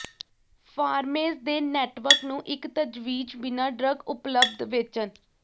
ਫਾਰਮੇਸ ਦੇ ਨੈੱਟਵਰਕ ਨੂੰ ਇੱਕ ਤਜਵੀਜ਼ ਬਿਨਾ ਡਰੱਗ ਉਪਲੱਬਧ ਵੇਚਣ